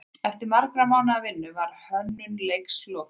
Eftir margra mánaða vinnu var hönnun leiksins lokið.